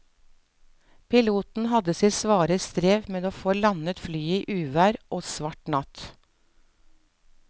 Piloten hadde sitt svare strev med å få landet flyet i uvær og svart natt.